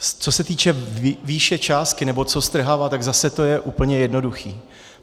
Co se týče výše částky, nebo co strhávat, tak zase to je úplně jednoduché.